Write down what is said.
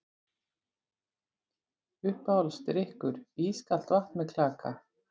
Uppáhaldsdrykkur: ískalt vatn með klaka